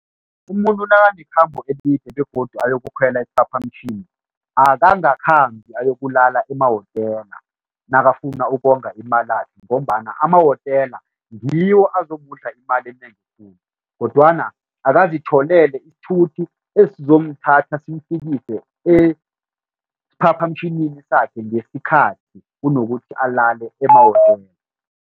Umuntu nakanekhambo elide begodu ayokukhwela isiphaphamtjhini, akangakhambi akulala emahotela nakafuna ukonga imalakhe ngombana emahotela ngiwo azokudla imali enengi khulu kodwana akazitholele isithuthi esizomthatha simfikise esiphaphamtjhini sakhe ngesikhathi, kunokuthi alale emahotela.